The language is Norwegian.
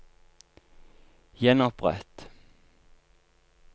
gjenopprett